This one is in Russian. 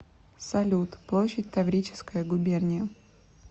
салют площадь таврическая губерния